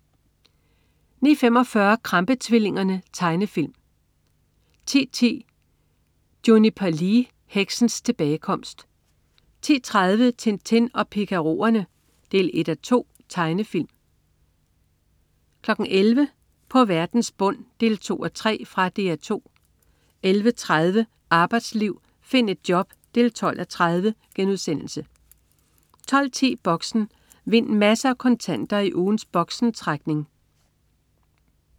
09.45 Krampe-tvillingerne. Tegnefilm 10.10 Juniper Lee. Heksens tilbagekomst 10.30 Tintin og Picarorerne 1:2. Tegnefilm 11.00 På verdens bund 2:3. Fra Dr 2 11.30 Arbejdsliv. Find et job 12:30* 12.10 Boxen. Vind masser af kontanter i ugens Boxen-trækning